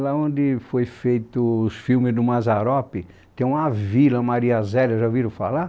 Lá onde foram feitos os filmes do Mazzaropi, tem uma Vila Mariazela, já ouviram falar?